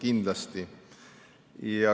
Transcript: Kindlasti.